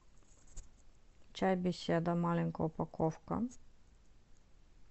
чай беседа маленькая упаковка